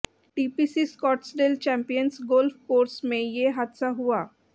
TPC Scottsdale Champions golf course में ये हादसा हआ